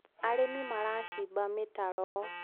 arĩmi maracimba mitaro